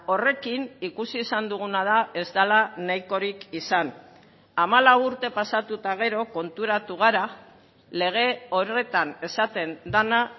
horrekin ikusi izan duguna da ez dela nahikorik izan hamalau urte pasatu eta gero konturatu gara lege horretan esaten dena